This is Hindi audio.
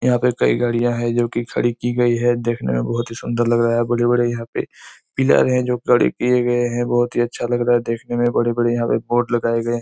यहाँ पर कई गाड़ियाँ है जोकि खड़ी कि गई है देखने में बहोत ही सुंदर लग रहा है बड़े-बड़े यहाँ पे पिलर है जो खड़े किये गए है बहोत ही अच्छा लग रहा है देखने में बड़े-बड़े यहाँ पे बोर्ड लगाये गए--